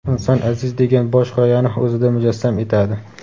inson aziz degan bosh g‘oyani o‘zida mujassam etadi.